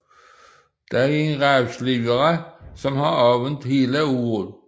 Der er en ravsliber som har åbent hele året